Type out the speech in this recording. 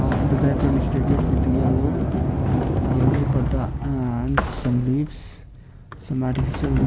a-a on the background is decorated with the yellow yellow pardha and some leaves some artificial leave.